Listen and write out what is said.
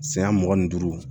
Siya mugan ni duuru